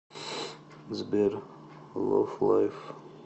сбер ловлайф